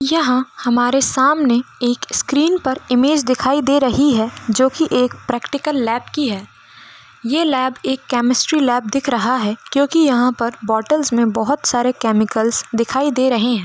यहाँ हमारे सामने एक स्क्रीन पर इमेज दिखाई दे रही है जो की एक प्रैक्टिकल लॅब की है ये लॅब एक केमेस्ट्री लॅब दिख रहा है क्यो कि यहाँ पर बॉटल्स मै बहुत सारे कैमिकलस दिखाई दे रहे है।